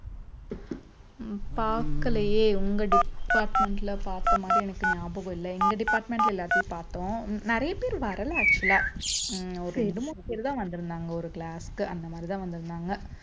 உம் பாக்கலையே உங்க department ல பாத்த மாறி எனக்கு ஞாபகம் இல்லை எங்க department ல எல்லாத்தையும் பாத்தோம் நிறைய பேர் வரல actual ஆ உம் ஒரு ரெண்டு மூணு பேர் தான் வந்திருந்தாங்க ஒரு class க்கு அந்த மாதிரிதான் வந்திருந்தாங்க